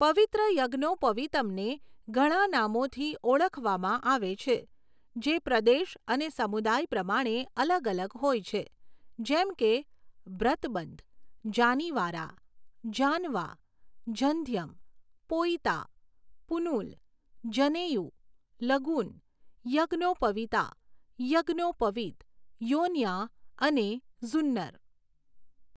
પવિત્ર યજ્ઞોપવિતમને ઘણા નામોથી ઓળખવામાં આવે છે, જે પ્રદેશ અને સમુદાય પ્રમાણે અલગ અલગ હોય છે, જેમ કે બ્રતબંધ, જાનીવારા, જાનવા, જંધ્યમ, પોઈતા, પુનુલ, જનેયુ, લગુન, યજ્ઞોપવિતા, યજ્ઞોપવિત, યોન્યા અને ઝુન્નર.